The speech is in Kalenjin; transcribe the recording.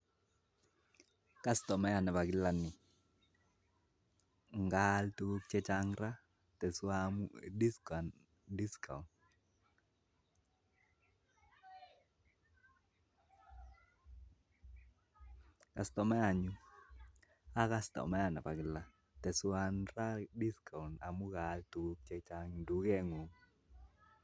Kastomayat Nebo kila ni kokaal tukuk chechang ak moche kikochi discount amu kaalishen tukenyu